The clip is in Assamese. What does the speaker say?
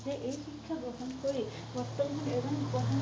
যে এই শিক্ষা গ্ৰহণ কৰি বৰ্তমান